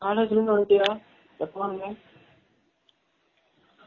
college ல இருந்து வன்டியா, எப்ப வந்த?